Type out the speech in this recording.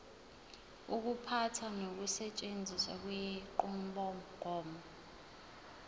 ukuphatha nokusetshenziswa kwenqubomgomo